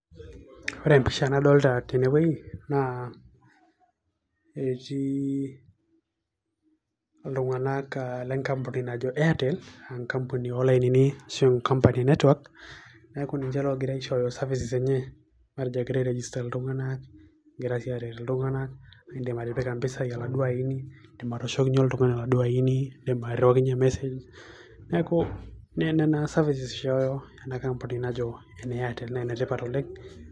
Ore empisha nadolta tenewei, naa etii iltung'anak lenkampuni najo Airtel, enkampuni olainini, ashu enkampuni enetwak, neeku ninche logira aishooyo services ,matejo egira ai register iltung'anak, egira si aret iltung'anak, idim atipika mpisai aladuo aini, idim atooshokinye oltung'ani aladuo aini, idim airriwakinye mesej. Neeku nena services ena kampuni najo ene Airtel, naa enetipat oleng'.